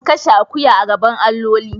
Kashe akuya a gaban alloli.